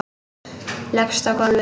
Leggst á gólfið.